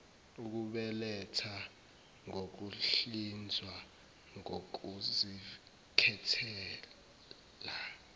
ukubeletha ngokuhlinzwa kokuzikhethela